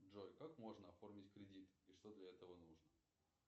джой как можно оформить кредит и что для этого нужно